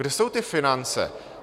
Kde jsou ty finance?